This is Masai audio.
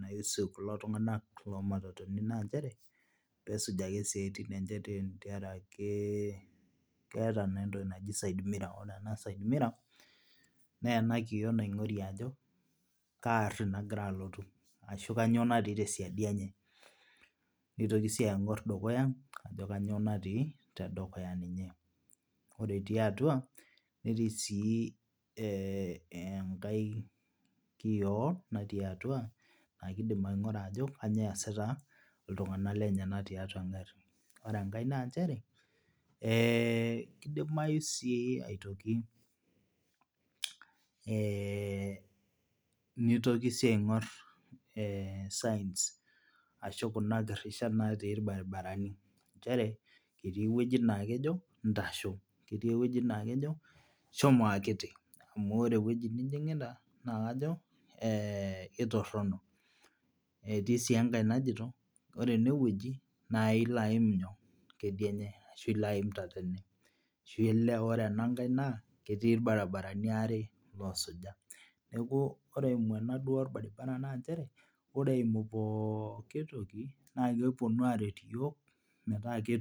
naihusu kulo tung'ana loomatatuni naa ncheere peesuj ake siatin enje tenkaraki keeta naa entoki naaji sidemirror ore ena sidemirror naa enaa kioo naing'orie ajoo kaa aari nagira alotu ashuu kanyioo naati tesiadi enye neitoki sii aing'orr dukuya ajo kanyioo naati tedukuya ninye, ore etii atua netii sii enkae kioo natii atua naa keidim aing'uraa ajo kanyio esiita iltung'anak lenyenak tiatua engarrii , ore enkae naa ncheree keidimayuu sii aitoki neitokii sii aing'orr signs ashuu kuna girishat naatii ilbarabarani ncheree ketii ewojii naa kejoo shomo akitii amu oree ewoji nijing'ita naa kajo ketoronok etii sii enkae najito ore enewoji naa ilo aiim nyoo ,kedianye ashuu ilo aiim tatene ashu ilo oree ene nkae wojii na ketii ilbarabarabi aare loosuja , neeku ore eimuana olbaribara naa nchere oree eimuu pookii tokii na keponuu aaret iyiook meetaa kutuum.